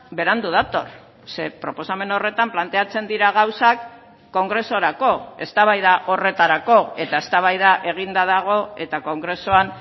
berandu dator ze proposamen horretan planteatzen dira gauzak kongresurako eztabaida horretarako eta eztabaida eginda dago eta kongresuan